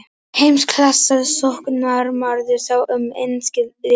Heimsklassa sóknarmaður sá um enska liðið.